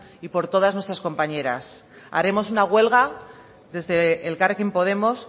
y por todas nuestras compañeras haremos una huelga desde elkarrekin podemos